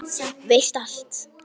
Veist allt.